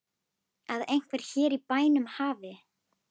Að einhver hér í bænum hafi.